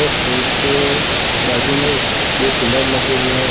और स्टेज के बाजू में ही एक दो कूलर लगे हुए हैं।